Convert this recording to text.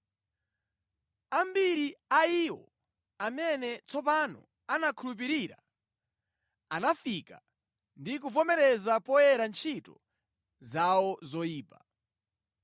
Ambiri a iwo amene tsopano anakhulupirira anafika ndi kuvomereza poyera ntchito zawo zoyipa.